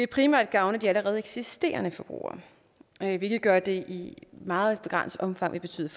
primært gavne de allerede eksisterende forbrugere hvilket gør at det i meget begrænset omfang vil betyde